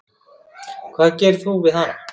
Hvað gerir þú við hana?